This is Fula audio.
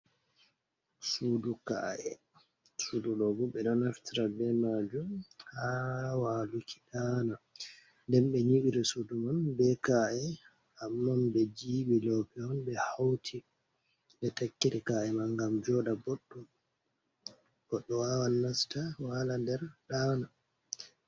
Suudu kaa`e, suudu ɗoo boo ɓe ɗo naftora be maajum haa waaluki ɗaana. Nden ɓe nyiɓiri suudu man be kaa’e, amman be jibi loope on ɓe hawti ɓe takkiri kaa’e man, ngam jooɗa booɗɗum goɗɗo waawan nasta waala nder ɗaana.